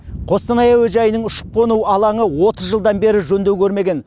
қостанай әуежайының ұшып қону алаңы отыз жылдан бері жөндеу көрмеген